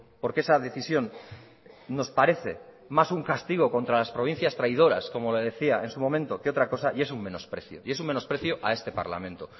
porque esa decisión nos parece más un castigo contra las provincias traidoras como le decía en su momento que otra cosa y es un menosprecio y es un menosprecio a este parlamento